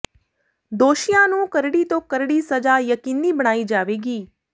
ਦੋਸ਼ੀਆਂ ਨੂੰ ਕਰੜੀ ਤੋਂ ਕਰੜੀ ਸਜ਼ਾ ਯਕੀਨੀ ਬਣਾਈ ਜਾਵੇਗੀ